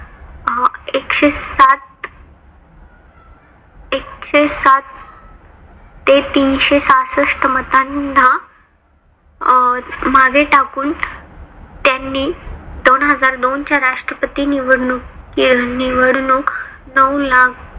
ते तीनशे सहाशष्ठ मत्तांना अं मागे टाकून त्यांनी दोनहजार दोनच्या राष्ट्रपती निवडणूक निवडणूक नऊ लाख